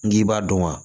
N k'i b'a dɔn wa